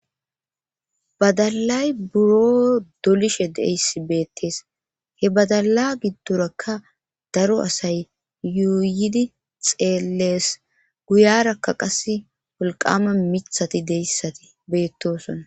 badalay buro dolishe deyssi beettees he badala giddorakka daro asay yuuyidi xeellees guyarakka qas wolqama mithati deyssati beettosona